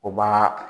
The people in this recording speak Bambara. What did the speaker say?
O b'a